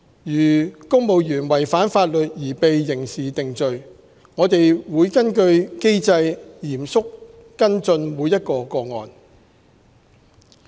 如公務員違反法律而被刑事定罪，我們會根據機制嚴肅跟進每一個個案。